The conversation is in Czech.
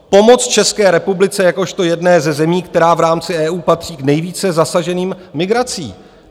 Pomoc České republice jakožto jedné ze zemí, která v rámci EU patří k nejvíce zasaženým migrací.